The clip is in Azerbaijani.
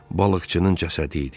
Balıqçının cəsədi idi.